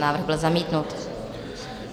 Návrh byl zamítnut.